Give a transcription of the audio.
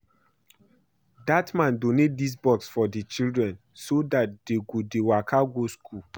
Dat man donate dis bus for the children so dat dey no go dey waka go school